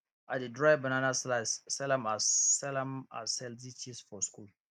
i dey dry banana slice sell am as sell am as healthy chips for school